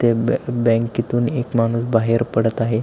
त्या बॅ बँकेतून एक माणूस बाहेर पडत आहे.